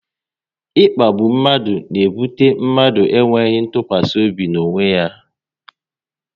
Ịkpagbu mmadụ n'ebute mmadụ enweghị ntụkwasị obi n'onwe ya